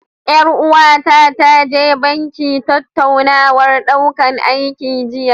Ƴar uwata ta je banki tattaunawar ɗaukan aiki jiya.